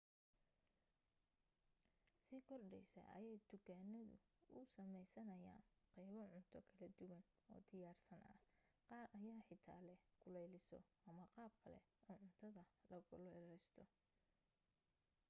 si kordhaysa ayay dukaamadu u sameysanayaan qaybo cunto kala duwan oo diyaarsan ah qaar ayaa xitaa leh kuleeliso ama qaab kale oo cuntada la kululaysto